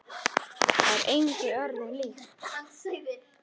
Það er engu öðru líkt.